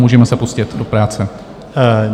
Můžeme se pustit do práce.